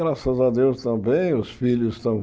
Graças a Deus também, os filhos estão.